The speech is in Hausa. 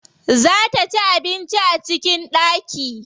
Za ta ci abinci a cikin ɗaki.